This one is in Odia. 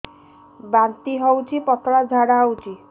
ବାନ୍ତି ହଉଚି ପତଳା ଝାଡା ହଉଚି